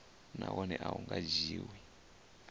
nahone a hu nga dzhiwi